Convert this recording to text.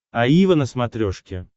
аива на смотрешке